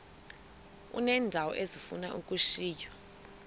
uneendawo ezifuna ukushiywa